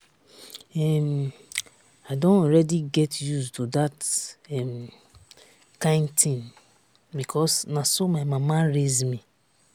um i don already get used to dat um kyn thing because na so my mama raise me